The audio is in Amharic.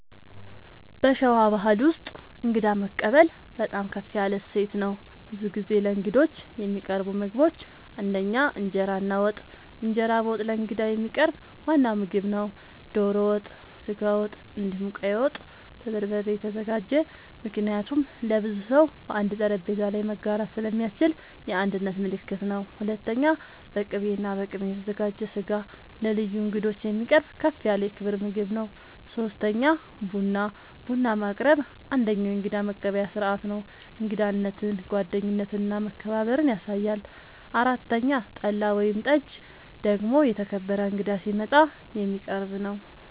በሸዋ ባሕል ውስጥ እንግዳ መቀበል በጣም ከፍ ያለ እሴት ነው። ብዙ ጊዜ ለእንግዶች የሚቀርቡ ምግቦች ፩) እንጀራ እና ወጥ፦ እንጀራ በወጥ ለእንግዳ የሚቀርብ ዋና ምግብ ነው። ዶሮ ወጥ፣ ስጋ ወጥ፣ እንዲሁም ቀይ ወጥ( በበርበሬ የተዘጋጀ) ምክንያቱም ለብዙ ሰው በአንድ ጠረጴዛ ላይ መጋራት ስለሚያስችል የአንድነት ምልክት ነው። ፪.. በቅቤ እና በቅመም የተዘጋጀ ስጋ ለልዩ እንግዶች የሚቀርብ ከፍ ያለ የክብር ምግብ ነው። ፫. ቡና፦ ቡና ማቅረብ አንደኛዉ የእንግዳ መቀበያ ስርዓት ነው። እንግዳነትን፣ ጓደኝነትን እና መከባበርን ያሳያል። ፬ .ጠላ ወይም ጠጅ ደግሞ የተከበረ እንግዳ ሲመጣ የሚቀረብ ነዉ